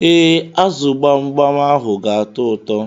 Ee, azu gbamgbam ahụ ga atọ ụtọ.